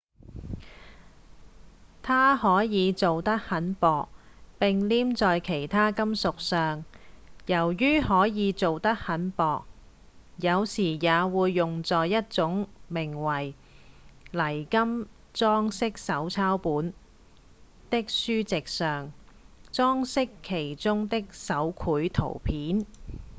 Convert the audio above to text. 它可以做得很薄並黏在其他金屬上由於可以做得很薄有時也會用在一種名為「泥金裝飾手抄本」的書籍上裝飾其中的手繪圖片